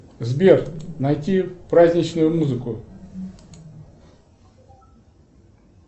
сбер найти праздничную музыку